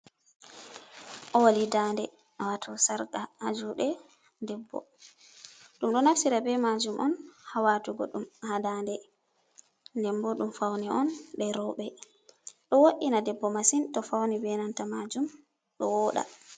Owaɗi dande wato sarka Ha juuɗe, debbo ɗum ɗo nafira be majuum hawatugo, ɗum ha dande, ndembo ɗum fauni on je rewɓe, do wo’ina debbo masin to fauni, be nanta majuum ɗo wooɗa.